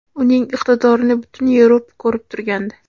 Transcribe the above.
Uning iqtidorini butun Yevropa ko‘rib turgandi.